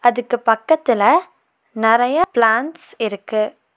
அதுக்கு பக்கத்துல நறைய பிளான்ட்ஸ் இருக்கு.